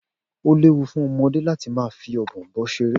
O léwu fún ọmọdé láti máa fí Ọ̀bọ̀ọ̀nbọọ̀n ṣeré.